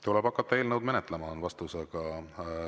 Tuleb hakata eelnõu menetlema, on vastus.